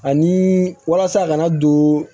Ani walasa kana don